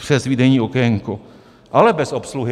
Přes výdejní okénko, ale bez obsluhy.